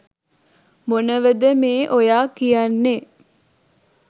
මොනවද මේ ඔයා කියන්නේ